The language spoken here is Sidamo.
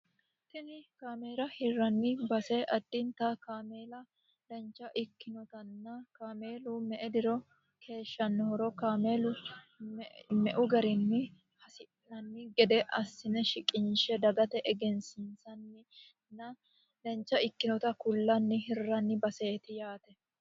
tini kaameela hirranni base addinta kaameela dancha ikkinotanna kaameelu me"e diro keeshshannohoro kaameelu me"u garinni hasi'nanni gede assine shiqinshe dagate egensisanninna dancha ikkinota kullanni hirranni baseeti yaate